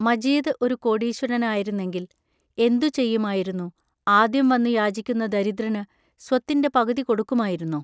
മജീദ് ഒരു കോടീശ്വരനായിരുന്നെങ്കിൽ എന്തു ചെയ്യുമായിരുന്നു ആദ്യം വന്നു യാചിക്കുന്ന ദരിദ്രന് സ്വത്തിന്റെ പകുതി കൊടുക്കുമായിരുന്നോ!